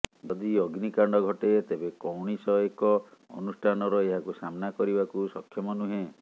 ଯଦି ଅଗ୍ନିକାଣ୍ଡ ଘଟେ ତେବେ କୌଣିସ ଏକ ଅନୁଷ୍ଠାନର ଏହାକୁ ସାମ୍ନା କରିବାକୁ ସକ୍ଷମ ନୁହେଁ